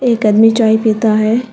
एक आदमी चाय पिता है।